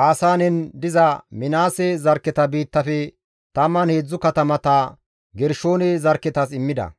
Baasaanen diza Minaase zarkketa biittafe 13 katamata Gershoone zarkketas immida.